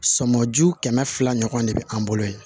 Sɔmɔju kɛmɛ fila ɲɔgɔn de be an bolo yen